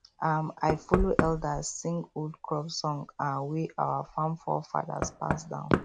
um i follow elders sing old crop song um wey our farm forefathers pass down